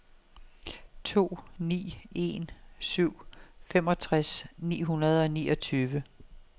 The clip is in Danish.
to ni en syv femogtres ni hundrede og niogtyve